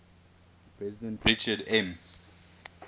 president richard m